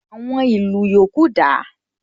Àwọn ìlù yòókù dà?